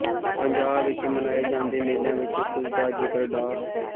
ਪੰਜਾਬ ਵਿੱਚ ਮਨਾਏ ਜਾਂਦੇ ਮੇਲਿਆਂ ਵਿੱਚੋ ਕੁੱਝ ਦਾ ਜ਼ਿਕਰ ਡਾ